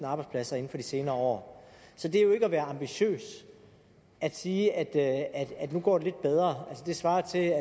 arbejdspladser inden for de senere år så det er jo ikke at være ambitiøs at sige at at nu går det lidt bedre det svarer til